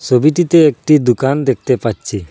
ছবিটিতে একটি দুকান দেখতে পাচ্ছি।